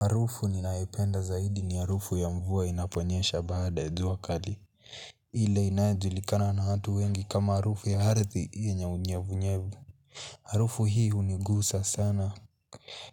Harufu ninayopenda zaidi ni harufu ya mvua inaponyesha baada ya jua kali. Ile inaejulikana na hatu wengi kama harufu ya arthi yenye unyevunyevu. Harufu hii hunigusa sana.